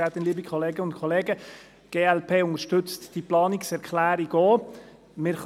Die glp unterstützt diese Planungserklärung ebenfalls.